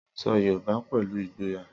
Sọ Yorùbá pẹ̀lú ìgboyà.